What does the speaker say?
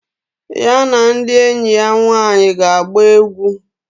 Ya na ndi enyi ya nwaanyi ga agba egwu.